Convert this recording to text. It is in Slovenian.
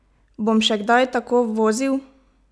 Bom še kdaj tako vozil?